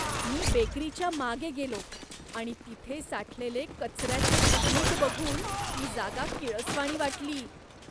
मी बेकरीच्या मागे गेलो आणि तिथे साठलेले कचऱ्याचे ढीग बघून ती जागा किळसवाणी वाटली.